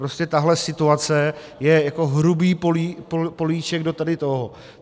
Prostě tahle situace je jako hrubý políček do tady toho.